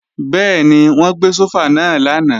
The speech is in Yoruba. Bẹ́ẹ̀ni, wọ́n gbé sófà náà lánàá